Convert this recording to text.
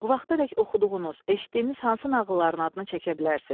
Bu vaxtadək oxuduğunuz, eşitdiyiniz hansı nağılların adını çəkə bilərsiz?